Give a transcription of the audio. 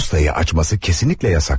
Postayı açması kesinlikle yasakdı.